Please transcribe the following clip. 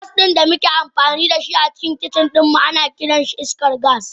Gas din da muke amfani da shi a cikin kicin ana kiransa iskar gas.